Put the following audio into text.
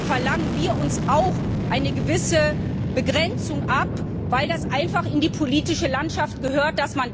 verlangen wir uns auch eine gewisse Begrenzung ab, weil das einfach in die politische Landschaft gehört.